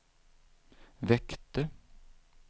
väckte